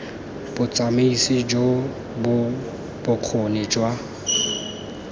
botsamaisi jo bo bokgoni jwa